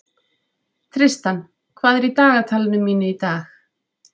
Tristan, hvað er í dagatalinu mínu í dag?